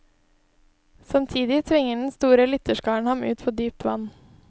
Samtidig tvinger den store lytterskaren ham ut på dypt vann.